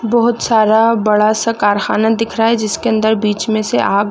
बहोत सारा बड़ा सा कारखाना दिख रहा है जिसके अंदर बीच में से आग--